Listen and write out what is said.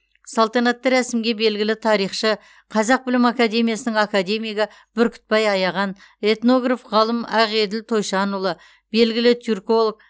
салтанатты рәсімге белгілі тарихшы қазақ білім академиясының академигі бүркітбай аяған этнограф ғалым ақеділ тойшанұлы белгілі түрколог